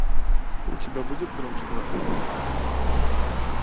у тебя будет гром в штанах